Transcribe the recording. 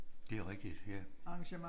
Det er rigtigt ja